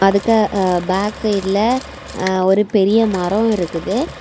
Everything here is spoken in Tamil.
அதுக்கு பேக் சைடுல அ ஒரு பெரிய மரோ இருக்குது.